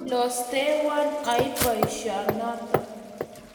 Kiilosteiwon aib boisionoto.